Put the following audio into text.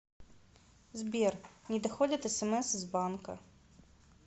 сбер не доходят смс из банка